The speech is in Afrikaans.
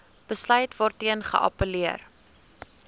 besluit waarteen geappelleer